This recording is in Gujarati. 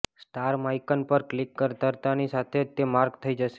સ્ટાર માઈકન પર ક્લિક કરતાની સાથે જ તે માર્ક થઈ શકે